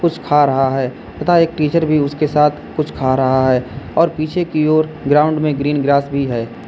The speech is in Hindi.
कुछ खा रहा है तथा एक टीचर भी उसके साथ कुछ खा रहा है और पीछे की ओर ग्राउंड में ग्रीन ग्रास भी है।